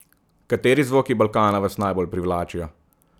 Kateri zvoki Balkana vas najbolj privlačijo?